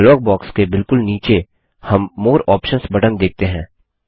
dialogue box के बिलकुल नीचे हम मोरे आप्शंस बटन देखते हैं